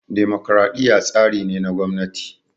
Dimokraɗiya tsari ne na gwamnati